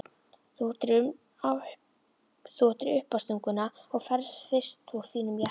Þú áttir uppástunguna og ferð fyrst úr þínum jakka.